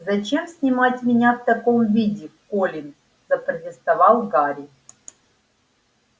зачем снимать меня в таком виде колин запротестовал гарри